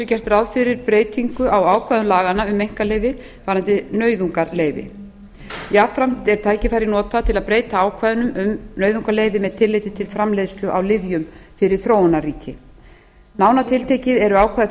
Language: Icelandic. þessu gert ráð fyrir breytingu á ákvæðum laganna um einkaleyfi varðandi nauðungarleyfi jafnframt er tækifærið notað til að breyta ákvæðunum um nauðungarleyfi með tilliti til framleiðslu á lyfjum fyrir þróunarríki nánar tiltekið eru ákvæði